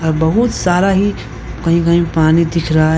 बहुत सारा ही कही कही पानी दिख रहा है।